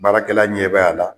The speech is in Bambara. Baarakɛla ɲɛ bɛ a la.